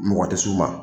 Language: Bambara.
Mɔgɔ tɛ s'u ma